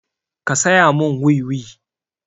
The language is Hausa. Ka saya mun wiwi!